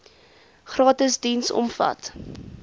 gratis diens omvat